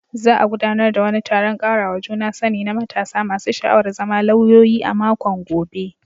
Za a gudanar da wani taron karawa juna sani na matasa masu sha'awar zama lauyoyi a makon gobe.